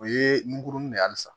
O ye nkurunin de ye halisa